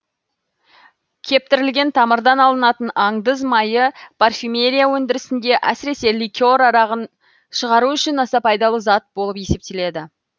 кептірілген тамырдан алынатын андыз майы парфюмерия өндірісінде әсіресе ликер арағын шығару үшін аса пайдалы зат болып есептеледі